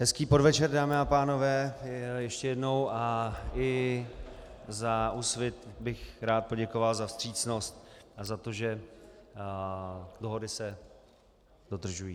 Hezký podvečer, dámy a pánové, ještě jednou, a i za Úsvit bych rád poděkoval za vstřícnost a za to, že dohody se dodržují.